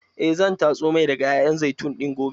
Eh zan tatso mai daga ƴaƴan zaitun ɗin gobe.